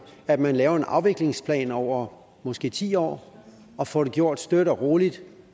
at man laver en afviklingsplan over måske ti år og får det gjort støt og roligt